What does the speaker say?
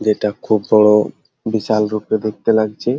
যেটা খুব বড় বিশাল রূপে দেখতে লাগছে।